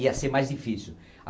Ia ser mais difícil.